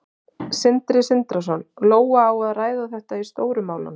Sindri Sindrason: Lóa, á að ræða þetta í Stóru málunum?